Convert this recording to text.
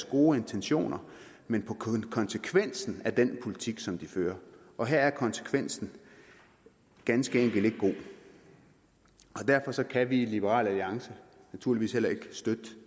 gode intentioner men på konsekvensen af den politik som de fører og her er konsekvensen ganske enkelt ikke god derfor kan vi i liberal alliance naturligvis heller ikke støtte